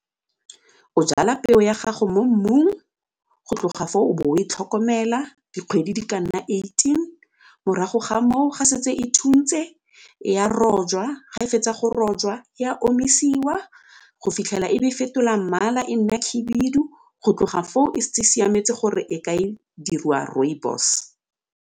O jala peo ya gago mo mmung, go tloga foo o bo o e tlhokomela dikgwedi di ka nna eighteen, morago ga moo ga setse e thuntse ya rojwa ga e fetsa go rojwa e a omisiwa go fitlhela e be fetola mmala e nna khibidu go tloga foo e setse e siametse gore e ka diriwa rooibos.